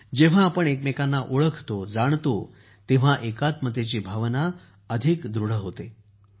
जेव्हा आपण एकमेकांना ओळखतो जाणतो तेव्हा एकात्मतेची भावना अधिक दृढ होते